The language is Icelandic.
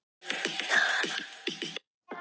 Hver veit hversu lengi hann getur spilað?